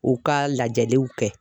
U ka lajɛliw kɛ